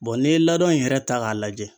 n'i ye laadon in yɛrɛ ta k'a lajɛ.